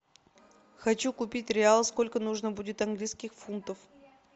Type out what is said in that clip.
хочу купить реал сколько нужно будет английских фунтов